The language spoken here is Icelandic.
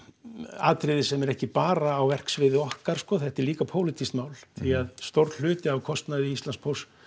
atriði sem er ekki bara á verksviði okkar þetta er líka pólitískt mál því að stór hluti af kostnaði Íslandspósts